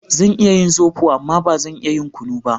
Zan iya yin zobo amma ba zan iya yin kunu ba